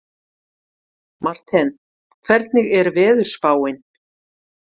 Marthen, hvernig er veðurspáin?